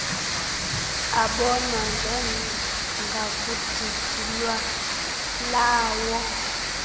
abonwa njengakudidi lwalawo